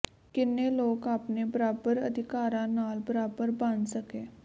ਕਿੰਨੇ ਲੋਕ ਆਪਣੇ ਬਰਾਬਰ ਅਧਿਕਾਰਾਂ ਨਾਲ ਬਰਾਬਰ ਬਣ ਸਕੇ